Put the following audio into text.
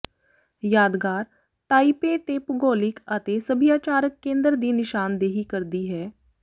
ਯਾਦਗਾਰ ਤਾਈਪੇ ਦੇ ਭੂਗੋਲਿਕ ਅਤੇ ਸਭਿਆਚਾਰਕ ਕੇਂਦਰ ਦੀ ਨਿਸ਼ਾਨਦੇਹੀ ਕਰਦੀ ਹੈ